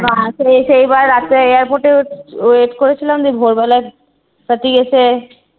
না সে~ সেবার রাত্রে airport এ wait wait করেছিলাম যে ভোর বেলায় সাথী এসে